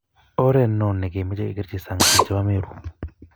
oret noo nekemochei kekerchi sang biik chebo Meru